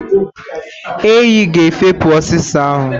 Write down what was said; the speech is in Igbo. Enyi ga efopụ osisi ahu.